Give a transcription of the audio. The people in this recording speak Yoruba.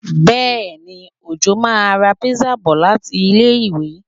Bẹ́èni, Òjó máa ra pizza bọ̀ láti ilé-ìwé